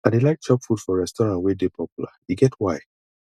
i dey like chop food for restaurant wey dey popular e get why